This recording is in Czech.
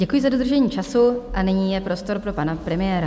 Děkuji za dodržení času a nyní je prostor pro pana premiéra.